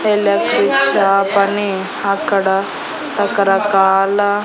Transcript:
ఒక electric shop అని అక్కడ రకరకాల--